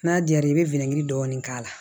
N'a diyara i bɛ dɔɔni k'a la